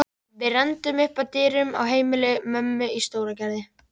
Við renndum upp að dyrum á heimili mömmu í Stóragerði.